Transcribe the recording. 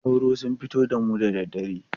Sauro sun fi damu da dare.